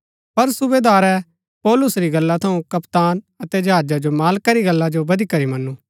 पर सूबेदारै पौलुस री गल्ला थऊँ कप्तान अतै जहाजा रै मालका री गल्ला जो बदीकरी मनु